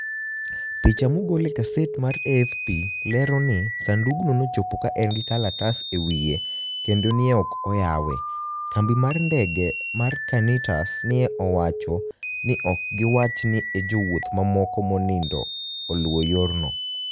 Picha mogol e gaset mar AFP lero nii, Saanidugno nochopo ka eni gi kalatas e wiye kenido ni e ok oyawe. Kambi mar nidege mar Qanitas ni e owacho nii ok giwach ni e jowuoth mamoko monido oluw yorno.